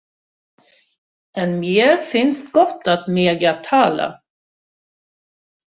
En mér finnst gott að mega tala.